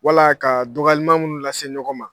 Wala ka dɔgɔyalima minnu lase ɲɔgɔn ma.